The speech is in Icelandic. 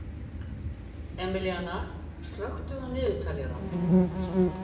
Emilíanna, slökktu á niðurteljaranum.